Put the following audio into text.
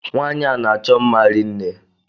Nwanyi a n'achọ mma rinne.